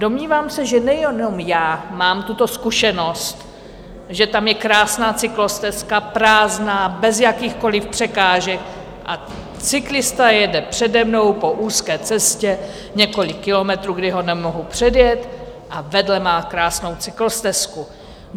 Domnívám se, že nejenom já mám tuto zkušenost, že tam je krásná cyklostezka, prázdná, bez jakýchkoli překážek, a cyklista jede přede mnou po úzké cestě několik kilometrů, kdy ho nemohu předjet, a vedle má krásnou cyklostezku.